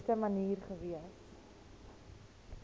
beste manier gewees